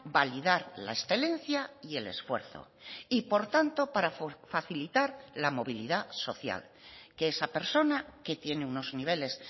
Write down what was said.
validar la excelencia y el esfuerzo y por tanto para facilitar la movilidad social que esa persona que tiene unos niveles